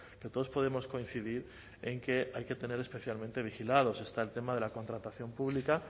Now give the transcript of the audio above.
que todos podemos coincidir en que hay que tener especialmente vigilados está el tema de la contratación pública